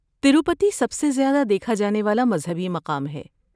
تروپتی سب سے زیادہ دیکھا جانے والا مذہبی مقام ہے۔